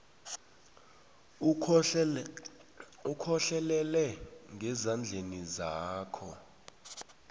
ukhohlelele ngezandleni zakho